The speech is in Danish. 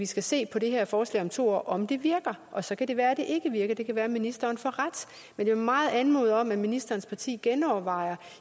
skal se på det her forslag om to år at om det virker og så kan det være at det ikke virker det kan være at ministeren får ret men jeg vil meget anmode om at ministerens parti genovervejer